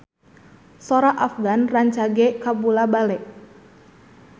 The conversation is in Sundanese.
Sora Afgan rancage kabula-bale